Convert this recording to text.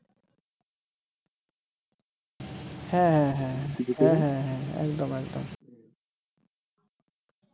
হ্যা হ্যা হ্যা হ্যা হ্যা হ্যা একদম একদম